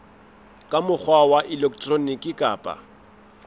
ka mokgwa wa elektroniki kapa